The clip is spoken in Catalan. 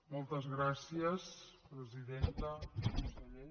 moltes gràcies presidenta conseller